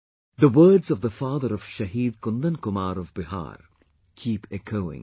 The words of the father of Shaheed Kundan Kumar of Bihar, keep echoing